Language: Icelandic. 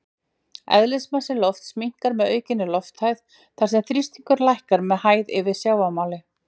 Eðlismassi lofts minnkar með aukinni lofthæð þar sem þrýstingur lækkar með hæð yfir sjávarmáli.